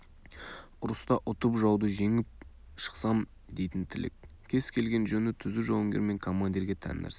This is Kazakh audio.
ұрыста ұтып жауды жеңіп шықсам дейтін тілек кез келген жөні түзу жауынгер мен командирге тән нәрсе